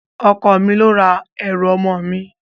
Ọkọ mi ló ra ẹrù ọmọ mi